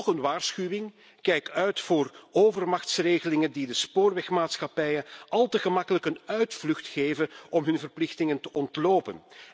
Toch een waarschuwing kijk uit voor overmachtsregelingen die de spoorwegmaatschappijen al te gemakkelijk een uitvlucht geven om hun verplichtingen te ontlopen.